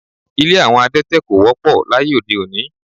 Ilé àwọn adẹ́tẹ̀ ko wọ́pọ̀ láyé ode-òní